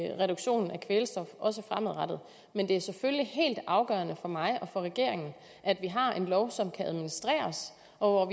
i reduktionen af kvælstof men det er selvfølgelig helt afgørende for mig og for regeringen at vi har en lov som kan administreres og